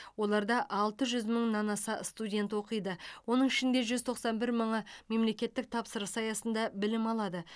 оларда алты жүз мыңнан аса студент оқиды оның ішінде жүз тоқсан бір мыңы мемлекеттік тапсырыс аясында білім алады